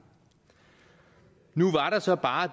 nu var der så bare